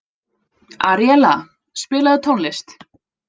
Aríella, spilaðu tónlist.